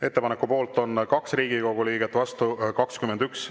Ettepaneku poolt on 2 Riigikogu liiget, vastu 21.